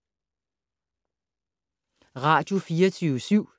Radio24syv